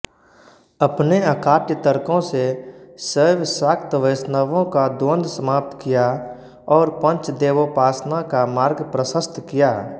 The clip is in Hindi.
अपने अकाट्य तर्कों से शैवशाक्तवैष्णवों का द्वंद्व समाप्त किया और पंचदेवोपासना का मार्ग प्रशस्त किया